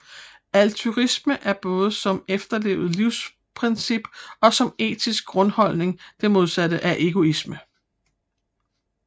Altruisme er både som efterlevet livsprincip og som etisk grundholdning det modsatte af egoisme